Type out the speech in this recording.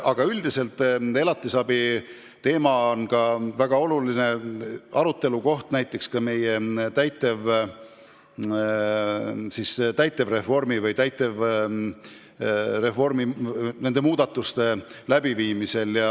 Aga üldiselt on elatisraha väga oluline aruteluteema ka meie täitevreformiga seotud muudatuste läbiviimisel.